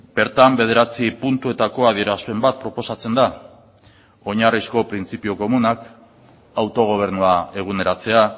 bertan bederatzi puntuetako adierazpen bat proposatzen da oinarrizko printzipio komunak autogobernua eguneratzea